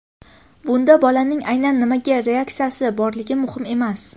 Bunda bolaning aynan nimaga reaksiyasi borligi muhim emas.